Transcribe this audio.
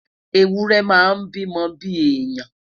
ewúrẹ máa n bi mó bi èèyàn